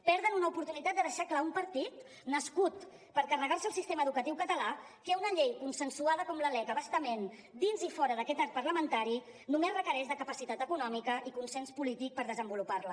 perden una oportunitat de deixar clar un partit nascut per carregar se el sistema educatiu català que una llei consensuada com la lec a bastament dins i fora d’aquest arc parlamentari només requereix la capacitat econòmica i consens polític per desenvolupar la